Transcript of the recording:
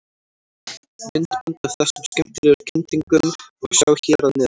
Myndband af þessum skemmtilegu kyndingum má sjá hér að neðan.